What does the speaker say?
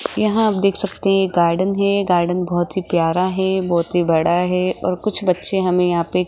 यहां आप देख सकते हैं गार्डन है गार्डन बहोत ही प्यारा है बहोत ही बड़ा है और कुछ बच्चे हमें यहां पे --